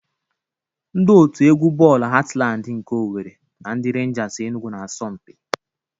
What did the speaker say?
Ndị otu egwu bọọlụ Hatlandị nke Owere na ndị Renjas Enugwu na-asọ mpi.